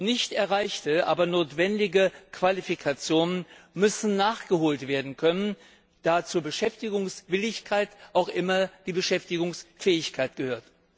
Nicht erreichte, aber notwendige Qualifikationen müssen nachgeholt werden können, da zur Beschäftigungswilligkeit auch immer die Beschäftigungsfähigkeit gehört.